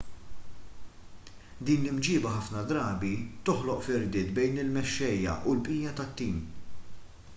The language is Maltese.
din l-imġiba ħafna drabi toħloq firdiet bejn il-mexxejja u l-bqija tat-tim